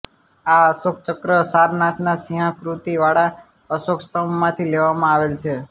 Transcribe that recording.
આ અશોક ચક્ર સારનાથના સિંહાકૃતિ વાળા અશોક સ્થંભ માંથી લેવામાં આવેલ છે